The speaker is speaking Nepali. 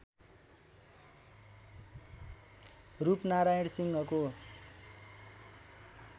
रूपनारायण सिंहको